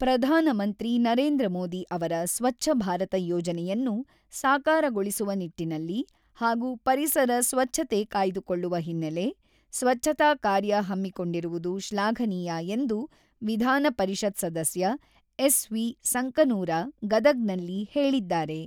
"""ಪ್ರಧಾನಮಂತ್ರಿ ನರೇಂದ್ರ ಮೋದಿ ಅವರ ಸ್ವಚ್ಚ ಭಾರತ ಯೋಜನೆಯನ್ನು ಸಾಕಾರಗೊಳಿಸುವ ನಿಟ್ಟಿನಲ್ಲಿ ಹಾಗೂ ಪರಿಸರ ಸ್ವಚ್ಛತೆ ಕಾಯ್ದುಕೊಳ್ಳುವ ಹಿನ್ನೆಲೆ, ಸ್ವಚ್ಛತಾ ಕಾರ್ಯ ಹಮ್ಮಿಕೊಂಡಿರುವುದು ಶ್ಲಾಘನೀಯ"" ಎಂದು ವಿಧಾನ ಪರಿಷತ್ ಸದಸ್ಯ ಎಸ್.ವಿ.ಸಂಕನೂರ ಗದಗ್‌ನಲ್ಲಿ ಹೇಳಿದ್ದಾರೆ."